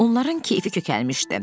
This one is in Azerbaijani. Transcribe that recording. Onların keyfi kökəlmişdi.